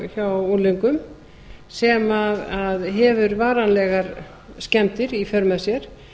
hjá unglingum sem hefur varanlegar skemmdir í för með sér